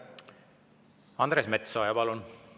Andres Metsoja, palun!